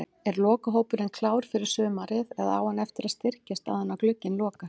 Er lokahópurinn klár fyrir sumarið eða á hann eftir að styrkjast áður en glugginn lokast?